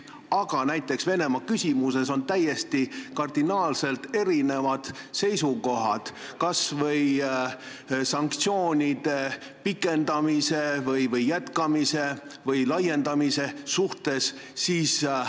Aga näiteks Venemaa puhul tekib küsimus, kas olla sanktsioonide jätkamise või laiendamise poolt või mitte.